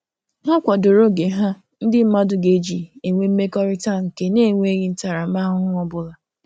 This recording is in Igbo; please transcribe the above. Ha kwadoro oge ha ndị mmadụ ga-eji enwe mmekọrịta nke na - eweghi ntaramahụhụ ọbụla